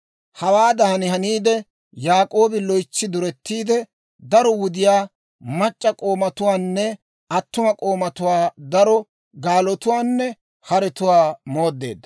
Hawaadan haniide, Yaak'oobi loytsi duretiide, daro wudiyaa, mac'c'a k'oomatuwaanne attuma k'oomatuwaa, daro gaalotuwaanne haretuwaa mooddeedda.